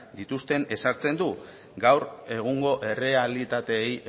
dituzten ezartzen du gaur egungo errealitateei